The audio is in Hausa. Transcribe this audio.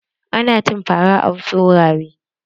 Ana cin fara a wasu wurare.